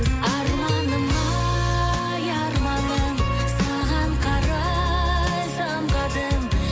арманым ай арманым саған қарай самғадым